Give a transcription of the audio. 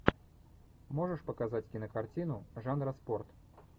можешь показать кинокартину жанра спорт